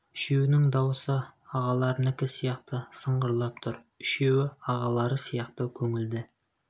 үшеуінің дауысы ағаларынікі сияқты сыңғырлап тұр үшеуі ағалары сияқты көңілді